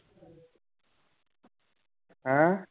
ਹੈਂ?